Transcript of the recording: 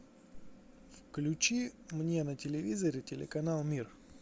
включи мне на телевизоре телеканал мир